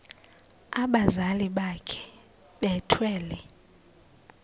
abazali bakhe bethwele